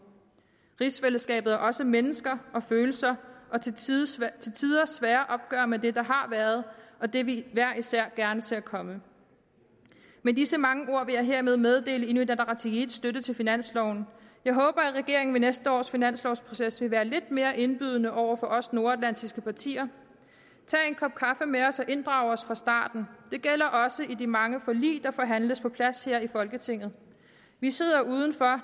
rigsfællesskabet er også mennesker og følelser og til tider svære svære opgør med det der har været og det vi hver især gerne ser komme med disse mange ord vil jeg hermed meddele inuit ataqatigiits støtte til finansloven jeg håber at regeringen ved næste års finanslovsproces vil være lidt mere indbydende over for os nordatlantiske partier tag en kop kaffe med os og inddrag os fra starten det gælder også i de mange forlig der forhandles på plads her i folketinget vi sidder udenfor